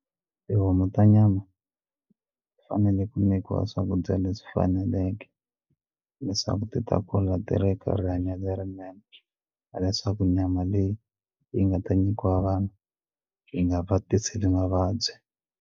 Tihomu ta nyama ti fanele ku nyikiwa swakudya leswi faneleke leswaku ti ta kula ti ri ka rihanyo lerinene hileswaku nyama leyi yi nga ta nyikiwa vanhu yi nga va tiseli mavabyi.